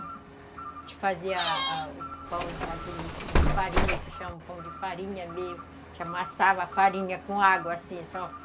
A gente fazia a o pão daquele de farinha, que chama pão de farinha, mesmo... A gente amassava a farinha com água, assim, só.